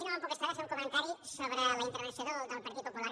i no me’n puc estar de fer un comentari sobre la intervenció del partit popular